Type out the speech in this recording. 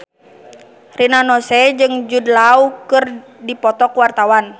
Rina Nose jeung Jude Law keur dipoto ku wartawan